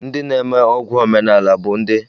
Ndị na-eme ọgwụ ọdịnala bụ ndị a kpọrọ dibịa ọdịnala